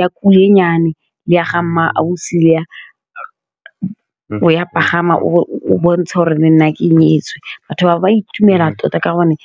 ya kulenyane le ya Mma Ausi, ya pagama o bontshe gore le nna ke nyetswe, batho ba ba itumela tota ka gonne.